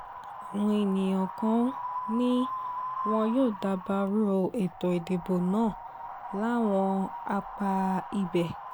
àwọn èèyàn kan ni wọn yóò dabarú ètò ìdìbò náà láwọn apá ibẹ̀